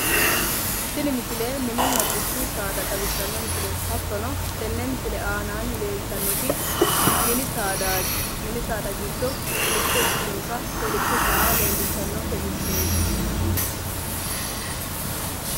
Tini misile mininna dubbu saada leelishano ,mini saada ikkitinotta kolisho saa leelishanonke misileti